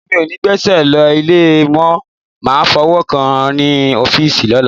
Èmi ò ní gbéṣẹ́ lọ ilé, mo máa fọwọ́ kàn án ní ọ́fíìsì lọ́la.